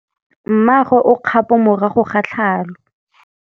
Mmagwe o kgapô morago ga tlhalô.